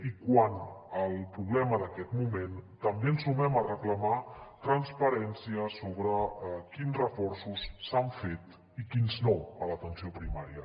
i quant al problema d’aquest moment també ens sumem a reclamar transparència sobre quins reforços s’han fet i quins no a l’atenció primària